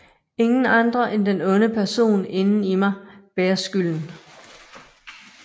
Ingen andre end den onde person inden i mig bærer skylden